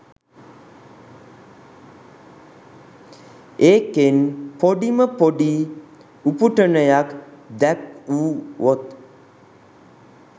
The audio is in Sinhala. ඒකෙන් පොඩිම පොඩි උපුටනයක් දැක්වුවොත්